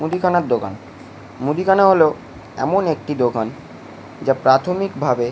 মুদিখানার দোকান। মুদিখানা হলো এমন একটি দোকান যা প্রাথমিক ভাবে --